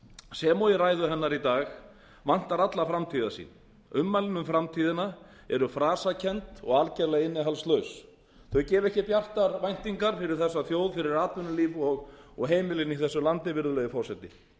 sem og í ræðu hennar í dag vantar alla framtíðarsýn ummælin um framtíðina eru frasakennd og algerlega innihaldslaus þau gefa ekki bjartar væningar fyrir þessa þjóð fyrir atvinnulíf og heimilin í þessu landi virðulegi forseti við skulum